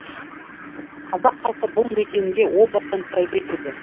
қазақ халқы бұл мекенге о бастан тәубе етеді